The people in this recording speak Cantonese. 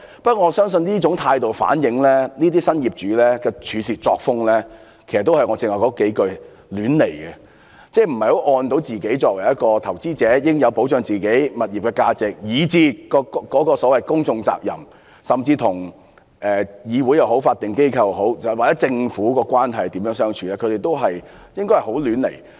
不過，我相信這種態度反映這些新業主的處事作風，正如我剛才所說，是"亂來"的，即作為投資者，在保障自己的物業價值時，對於所謂"公眾責任"，甚至與議會、法定機構或政府的關係，均是亂來的。